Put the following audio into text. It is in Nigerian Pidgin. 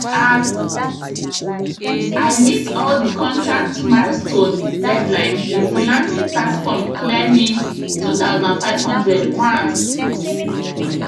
as i meet all the contract milestone deadline the freelancing platform clear me 2500 once